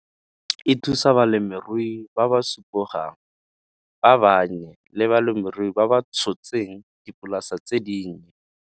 E thusa balemirui ba ba supogang, ba bannye le balemirui bao ba tshotseng dipolasa tse dinnye.